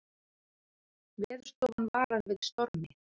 Veðurstofan varar við stormi